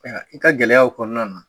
Aa i ka gɛlɛyaw kɔnɔna na.